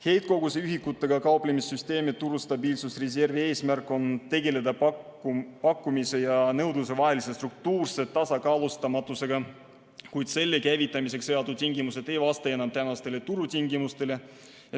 Heitkoguse ühikutega kauplemise süsteemi turustabiilsusreservi eesmärk on tegeleda pakkumise ja nõudluse vahelise struktuurse tasakaalustamatusega, kuid selle käivitamiseks seatud tingimused ei vasta enam tänastele turutingimustele.